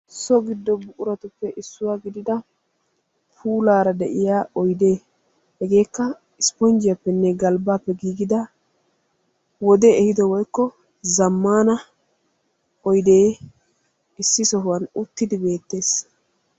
so giddo buquratuppe issuwaa gidida puulaarade'iyaara oydde hegeekka ispponjjiyappe woykko galbbappe giigida wodee ehiidi woykko zamana oydde issi sohuwan uttidi beettees.